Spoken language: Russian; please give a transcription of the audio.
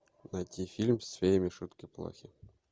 найти фильм с феями шутки плохи